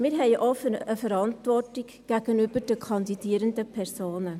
wir haben auch eine Verantwortung gegenüber den kandidierenden Personen.